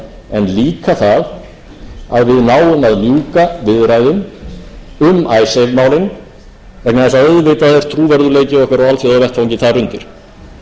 en líka það að við náum að ljúka viðræðum um icesave málin vegna þess að auðvitað er trúverðugleiki okkar á alþjóðavettvangi þar undir hvort okkur